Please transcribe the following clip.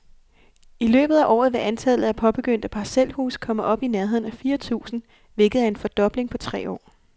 I løbet af året vil antallet af påbegyndte parcelhuse komme op i nærheden af fire tusind, hvilket er en fordobling på tre år.